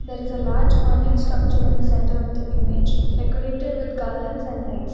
There is a large structure in the center of the image decorated with colors and lights.